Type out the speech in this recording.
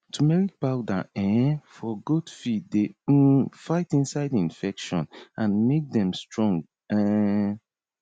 turmeric powder um for goat feed dey um fight inside infection and make dem strong um